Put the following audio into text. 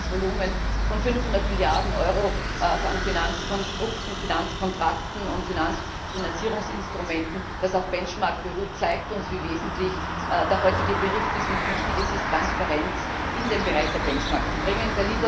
Allein das Volumen von 500 Milliarden Euro an Finanzkonstrukten, Finanzkontrakten und Finanzierungsinstrumenten, das auf Benchmarks beruht, zeigt uns, wie wesentlich der heutige Bericht ist und wie wichtig es ist, Transparenz in den Bereich der Benchmarks zu bringen.